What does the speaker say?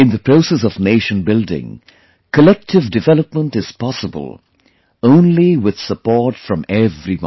In the process of nation building, collective development is possible only with support from everyone